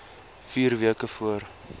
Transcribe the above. vier weke voor